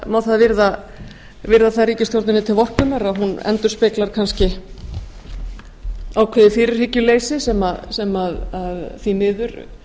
má það virða ríkisstjórninni til vorkunnar að hún endurspeglar kannski ákveðið fyrirhyggjuleysi sem því miður